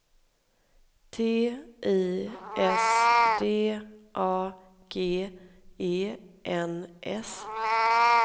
T I S D A G E N S